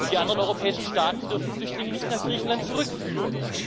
Die anderen europäischen Staaten dürfen Flüchtlinge nicht nach Griechenland zurückführen.